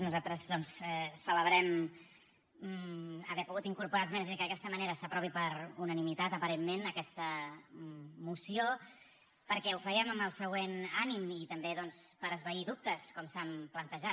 nosaltres doncs celebrem haver pogut incorporar esmenes i que d’aquesta manera s’aprovi per unanimitat aparentment aquesta moció perquè ho fèiem amb el següent ànim i també doncs per esvair dubtes com s’han plantejat